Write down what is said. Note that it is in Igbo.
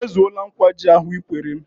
Ị mezuole nkwa ji ahụ Ị kwere m?